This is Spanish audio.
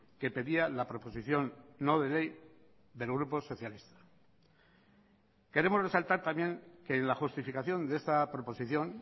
que pedía la proposición no de ley del grupo socialista queremos resaltar también que en la justificación de esta proposición